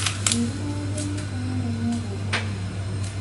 njĩĩra maũndũ makwa marĩa megũũka nĩ marĩkũ